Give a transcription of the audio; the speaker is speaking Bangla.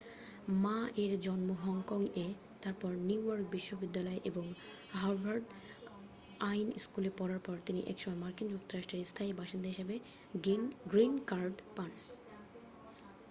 মা-এর জন্ম হংকং-এ তারপর নিউ ইয়র্ক বিশ্ববিদ্যালয় এবং হার্ভার্ড আইন স্কুলে পড়ার পর তিনি একসময় মার্কিন যুক্তরাষ্ট্রের স্থায়ী বাসিন্দা হিসাবে গ্রীন কার্ড পান